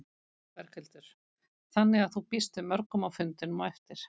Berghildur: Þannig að þú býst við mörgum á fundinn á eftir?